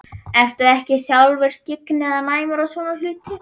Ertu ekki sjálfur skyggn eða næmur á svona hluti?